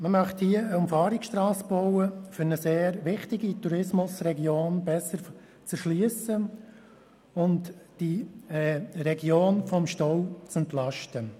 Man möchte hier eine Umfahrungsstrasse bauen, um eine sehr wichtige Tourismusregion besser zu erschliessen und die Region vom Stau zu entlasten.